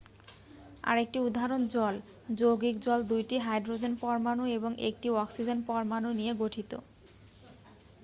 আরেকটি উদাহরণ জল যৌগিক জল 2টি হাইড্রোজেন পরমাণু এবং 1টি অক্সিজেন পরমাণু নিয়ে গঠিত